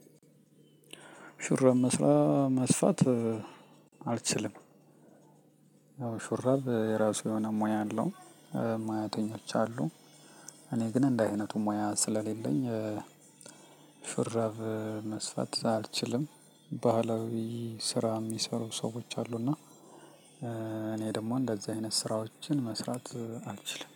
ሹራብ መስራ መስፋት አልችልም። ያው ሹራብ የራሱ የሆነ ሙያ አለው። ሙያተኞች አሉ። እኔ ግን እንደህ አይነቱ ሙያ ስለሌለኝ። ሹራብ መስፋት አልችልም። ባህላዊ ስራ የሚሰሩ ሰዎች አሉና። እኔ ደግሞ እንደዚህ አይነት ስራዎችን መስራት አልችልም